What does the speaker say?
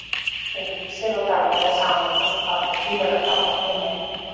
Þegar Vísir og Dagblaðið sameinuðust var það gífurlegt áfall fyrir mig.